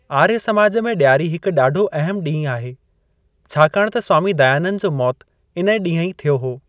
आर्य समाज में ॾियारी हिकु ॾाढो अहिमु ॾींहुं आहे, छाकाणि त स्वामी दयानंद जो मौत इन ॾींह ई थियो हो।